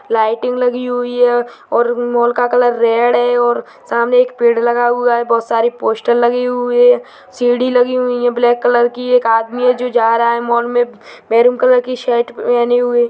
lighting लगी हुई है और मॉल का कलर रेड है और सामने एक पेड़ लगा हुआ है बहोत सारी पोस्टर लगी हुई है सीढ़ी लगी हुई है ब्लैक कलर की एक आदमी है जो जा रहा है मॉल में मेहरून कलर की शर्ट पेहने हुए --